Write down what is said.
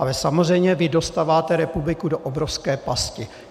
Ale samozřejmě vy dostáváte republiku do obrovské pasti.